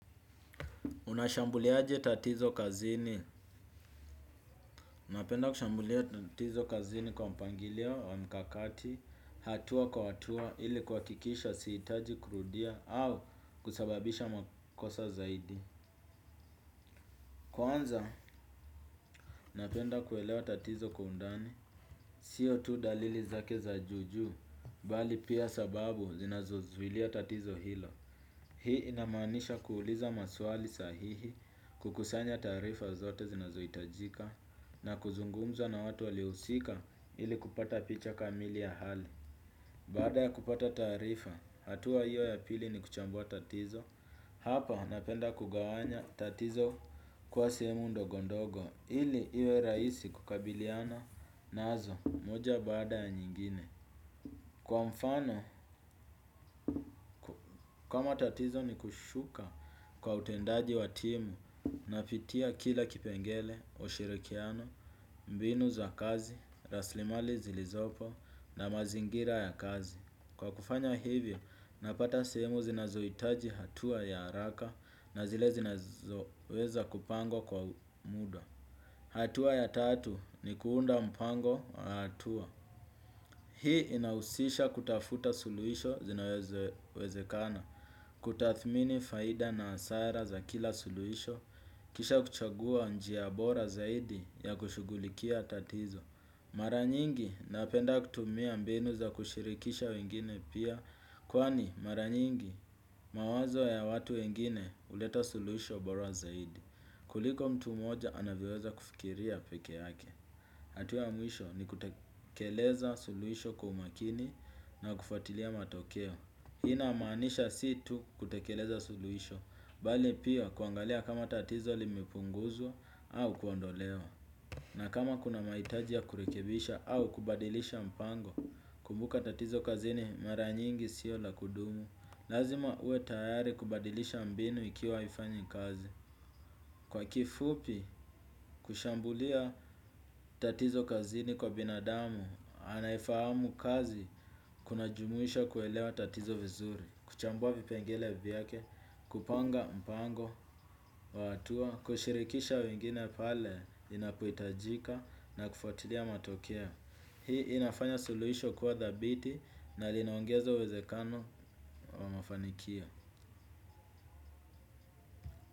Unashambulia aje tatizo kazini? Napenda kushambulia tatizo kazini kwa mpangilio na mkakati, hatua kwa hatua ili ku hakikisha sihitaji kurudia au kusababisha makosa zaidi. Kwanza, napenda kuelewa tatizo kwa undani, siyo tu dalili zake za juju, bali pia sababu zinazozulia tatizo hilo. Hii inamaanisha kuuliza maswali sahihi kukusanya taarifa zote zinazo hitajika na kuzungumza na watu walio husika ili kupata picha kamili ya hali. Baada ya kupata taarifa, hatua hiyo ya pili ni kuchambua tatizo, hapa napenda kugawanya tatizo kwa sehemu ndogo ndogo ili iwe rahisi kukabiliana nazo moja baada ya nyingine. Kwa mfano, kamatatizo ni kushuka kwa utendaji watimu napitia kila kipengele, ushirikiano, mbinu za kazi, rasilimali zilizopo na mazingira ya kazi. Kwa kufanya hivyo, napata sehemu zinazohitaji hatua ya haraka na zile zinazoweza kupangwa kwa muda. Hatua ya tatu ni kuunda mpango wa hatua. Hii inahusisha kutafuta suluhisho zinazo wezekana, kutathmini faida na hasara za kila suluhisho, kisha kuchagua njia bora zaidi ya kushugulikia tatizo. Mara nyingi napenda kutumia mbinu za kushirikisha wengine pia, kwani mara nyingi mawazo ya watu wengine huleta suluisho bora zaidi. Kuliko mtu moja anavyo weza kufikiria peke yake. Hatua ya mwisho ni kutekeleza suluhisho kwa umakini na kufuatilia matokeo. Hii inamaanisha si tu kutekeleza suluhisho, bali pia kuangalia kama tatizo limepunguzwa au kuondolewa. Na kama kuna maitaji ya kurekebisha au kubadilisha mpango, kumbuka tatizo kazini mara nyingi sio la kudumu. Lazima uwe tayari kubadilisha mbinu ikiwa haifanyi kazi. Kwa kifupi, kushambulia tatizo kazini kwa binadamu, anaye fahamu kazi kuna jumuhisha kuelewa tatizo vizuri, kuchambua vipengele vyake, kupanga mpango wa hatua, kushirikisha wengine pale, inapohitajika na kufuatilia matokeo. Hii inafanya suluhisho kuwa dhabiti na linaongeza uwezekano wa mafanikio.